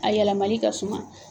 A yɛlɛmali ka suma